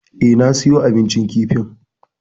Eh, na siyo abincin kifin.